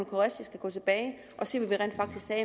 qureshi skal gå tilbage og se hvad vi rent faktisk sagde